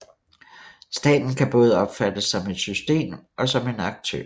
Staten kan både opfattes som et system og som en aktør